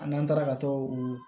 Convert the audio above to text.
A n'an taara ka t'o